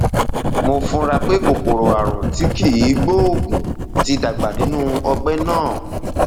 mo fura pé kòkòrò ààrùn tí kìí gbóògùn ti dàgbà nínú ọgbẹ náà